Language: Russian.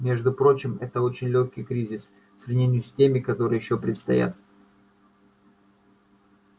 между прочим это очень лёгкий кризис в сравнении с теми которые ещё предстоят